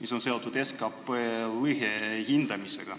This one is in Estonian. mis on seotud SKT lõhe hindamisega.